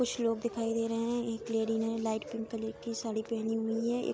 कुछ लोग दिखाई दे रहे हैं एक लेडी ने लाइट पिंक कलर की साडी पहने हुई है एक --